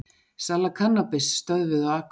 Sala kannabis stöðvuð á Akureyri